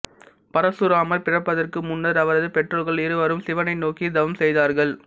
பரசுராமர் பிறப்பதற்கு முன்னர் அவரது பெற்றோர்கள் இருவரும் சிவனை நோக்கி தவம் செய்தார்கள்